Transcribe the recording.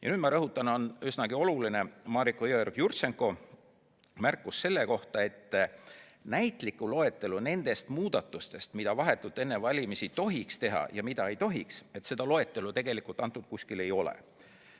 Ja nüüd ma rõhutan seda, mis on üsnagi oluline, nimelt, Mariko Jõeorg-Jurtšenko märkis, et näitlikku loetelu nendest muudatustest, mida vahetult enne valimisi ei tohiks teha, tegelikult kusagil esitatud ei ole.